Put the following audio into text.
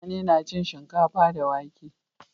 mutane na cin shinkafa da wake